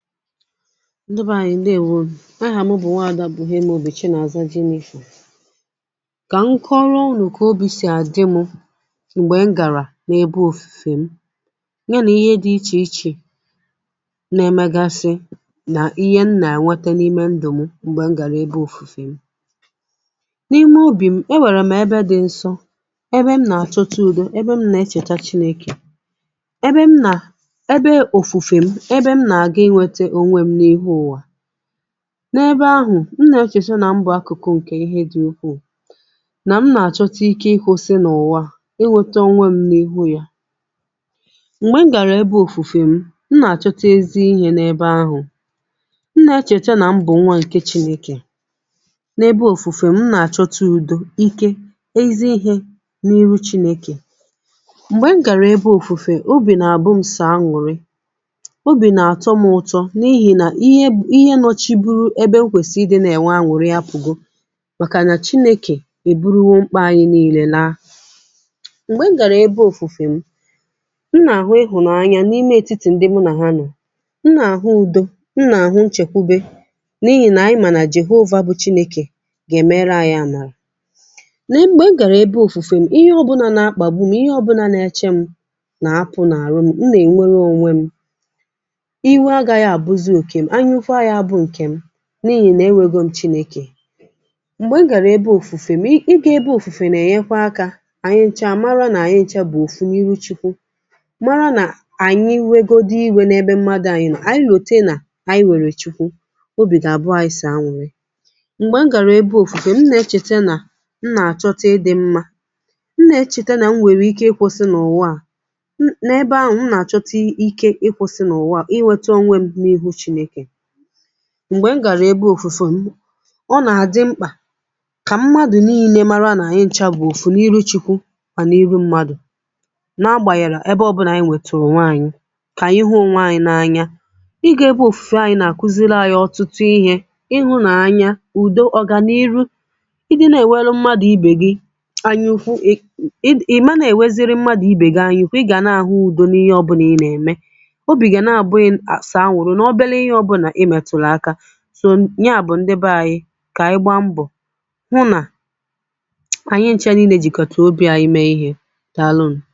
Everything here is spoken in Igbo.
ndị beànyị ndeèwȯ n’aha mụ̀ bụ̀ nwaada buhiemobi Chinàza Jennifer. Kà m kọrọ ụnụ ka Obi si àdị mụ̇ m̀gbè m gàrà nà ebe òfùfè m ya, nà ihe dị ichè ichè[paues] na-emegasị, nà ihe m nà-ènwete n’ime ndụ̀ m m̀gbè m gàrà ebe òfùfè m, n’ime obì m e wèrè m ebe dị nsọ, ebe m nà-àchọta udo, ebe m nà-echècha chinėkè, ebe m nà ebe òfùfè m, ebe m na-aga inweta onwe m n’ihe ụwa, n’ebe ahụ̀ m nà-echeta nà mbụ̀ akụ̀kụ ǹkè ihe dị̀ ukwuù, nà m nà-àchọta ike ịkwusị n’ụ̀wa, inweta ònwe m nà ihu ya, m̀gbè m gàrà ebe òfùfè m, m nà-àchọta ezi ihė n’ebe ahụ̀, m nà-echèta nà m bụ̀ nwa ǹke chinėkè, n’ebe òfùfè m nà-àchọta ùdò, ike, ezi ihė n’iru Chinėkè, m̀gbè m gàrà ebe òfùfè obì nà àbụ m sọ añùri obi na atọ m ụtọ n’ihi na ihe bu ihe nọchi buru ebe nkwèsìri ịdị na-enwe aṅụrị ya apùgò, màkà nà Chinėkè èburuwo mkpà anyị niilė laa, m̀gbè m̀ gara ebe òfùfè m, m na ahụ ịhụnanya n'ime etítì ndị mụ na ha nọ, m na ahụ udo, m na ahụ nchekwube n’ihi na anyị ma na Jehova bụ̀ Chineke ga-emere anyị amara, na mgbe m gara ebe òfùfè m, ihe ọbụna na akpagbu m, ihe ọbụna na-eche m na apụ na arụ m, m na enwere owe m, iwe agaghị abuzi oke m, anyaukwu agaghị abụ nkem, na-ihì nà ewėgo m̀ Chinėkè, m̀gbè e gàrà ebe òfùfè m, i ị gà ebe òfùfè nà-ènyekwa akȧ ànyị nchȧ mara nà ànyị nchȧ bụ̀ òfu n’iru Chukwu, mara nà ànyị nwėgodi ìwė n’ebe mmadụ̇, ànyị nà ànyị lòte nà ànyị wèrè Chukwu obì gà àbụ anyị sì àñụ̀rị, m̀gbè e gàrà ebe òfùfè m nà-echète nà m nà-àchọta dị̇ mmȧ, m nà-echète nà m nwèrè ike ịkwọ̇sị̇ nà ụ̀wa à, um n’ebe ahụ̀ m nà-àchọta ike ịkwọ̇sị̇ nà ụ̀wa à, inweta onwe n'ihu Chineke, m m̀gbè m gàrà ebe òfùfè m, ka m̀madụ̀ n’ìnė mara nà ànyị ncha bụ̀ òfù n’ihu Chikwu, à n’ihu m̀madụ̀ na-agbànyàrà ebe ọbụlà ànyị nwètùrù onwe ànyị̀, kà ànyị hụ Onwe ànyị̀ n’anya, iga ebe òfùfè ànyị nà-àkuziri ànyị ọtụtụ ihė ịhụ̇nàànyȧ, ùdò ọ̀gà n’iru, ịdị nà-èweru m̀madụ̀ ibè gị anyụkwu, um i mà nà-èweziri m̀madụ̀ ibè gị anyụ̀, kà ị gà nàà hụ u̇do n’ihe ọbụ̇nà ị nà-ème, obi ga na abụ gị sọ añùri na obere ihe ọbụna imeturu aka, so ya bụ̀ ndị be anyị kà anyị gbaa mbọ̀ hụ nà [paues] anyị ncha niile jìkọtere obi̇ anyị mee ihe, daalụ nu.